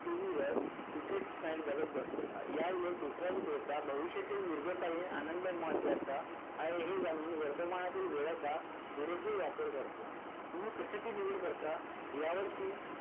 TV वर cricket match बघत बसतो. यावेळेत दुसरा विक्रेता भविष्यातील दीर्घकालीन आनंद महत्वाचा आहे हे जाणून वर्तमानातील वेळेचा पुरेपूर वापर करतो. तुम्ही कशाची निवड करता यावर की